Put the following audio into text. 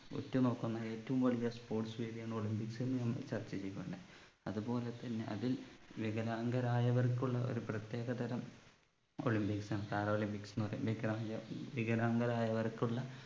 ഉറ്റുനോക്കുന്ന ഏറ്റവും വലിയ sports വേദി എന്ന് olympics നെ നാം ചർച്ച ചെയ്യുകയാണ് അത്പോലെ തന്നെ അതിൽ വികലാംഗരായവർക്കുള്ള ഒരു പ്രത്യേക തരം olympics ആണ് para olympics എന്ന് പറയും വികലായ വികലാംഗരായവർക്കുള്ള